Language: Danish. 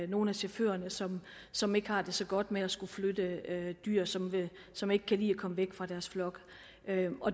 nogle af chaufførerne som som ikke har det så godt med at skulle flytte dyr som som ikke kan lide at komme væk fra deres flok